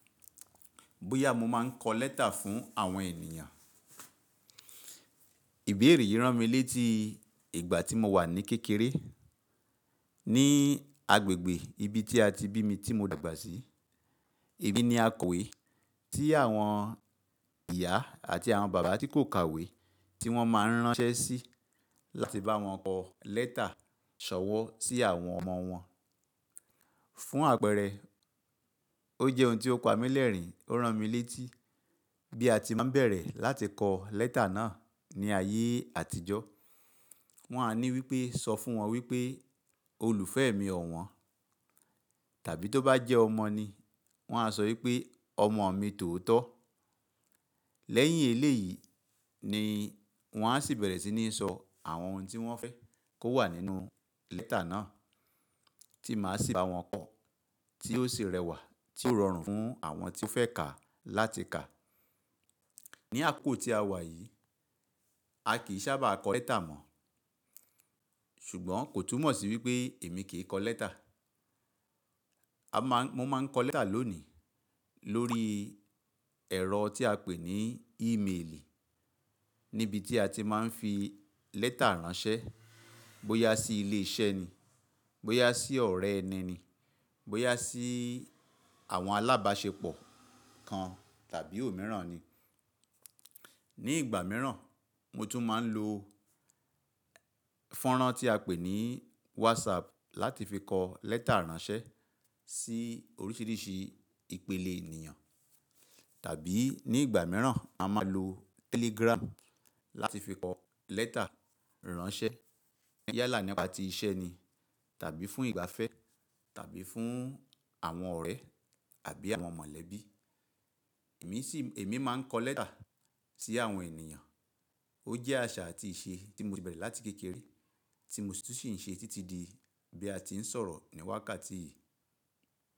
Bóyá mo máa ń kọ lẹ́tà fún àwọn ènìyàn, ìbéèrè yìí ràn mí létí ìgbà tí mo wà ní kékeré, ní agbègbè ibi tí a ti bí mi tí mo dàgbà sí. Ibi ni a kòwe tí àwọn ìyá àti àwọn bàbá tí kò kàwé tí wọ́n máa ń ránṣẹ́ sí láti bá wọn kọ lẹ́tà ṣọ̀wọ́n sí àwọn ọmọ wọn. Fún àpẹẹrẹ, ó jẹ́ ohun tí ó pa mí lẹ́rìn-ín, ó ràn mí létí bí a ti máa ń bẹ̀rẹ̀ láti kọ lẹ́tà náà ní ayé àtijọ́. Wọn a ní wípé, sọ fún wọn wípé olùfẹ́ mi ọ̀wọ́n, tàbí tó bá jẹ́ ọmọ ni wọ́n á sọ wípé ọmọ mi tòótọ́. Lẹ́yìn èlé yìí ni wọ́n á sì bẹ̀rẹ̀ sí ní sọ àwọn ohun tí wọ́n fẹ́ kó wà nínú lẹ́tà náà tí màá sì bá wọn kọ, tí ó sì rẹwà tí ó rọrùn fún àwọn tí fẹ́ kà láti kà. Ni àkókò tí a wà yìí, a kì í sábà kọ lẹ́tà mọ̀, ṣùgbọ́n kò túmọ̀ sí wípé èmi kì í kọ lẹ́tà. A máa ń, mo máa ń kọ lẹ́tà lónìí lórí ẹ̀rọ tí a pè ní ímeèlì níbi tí a ti máa ń fi lẹ́tà ránṣẹ́, bóyá sí ilé iṣẹ́ ni, bóyá sí ọ̀rẹ́ ẹni ni, bóyá sí àwọn alábáṣepọ̀ kan tàbí òmíràn ni. Ni ìgbà mìíràn, mo tún máa ń lo fọ́nrán tí a pè ní WhatsApp láti fi kọ lẹ́tà ránṣẹ́ sí oríṣìíríṣìí ìpele ènìyàn. Tàbí ní ìgbà mìíràn a máa lo Telegram láti fi kọ lẹ́tà ránṣẹ́ yálà nípa ti iṣẹ́ ni tàbí fún ìgbafẹ́ tàbí fún àwọn ọ̀rẹ́ àbí àwọn mọ̀lẹ́bí. Èmi sì, èmi máa ń kọ lẹ́tà sí àwọn ènìyàn. Ó jẹ́ àṣà àti ìṣe tí mo ti bẹ̀rẹ̀ láti kékeré tí mo sì ń ṣe títí di bí a ti ń sọ̀rọ̀ ní wákàtí yìí.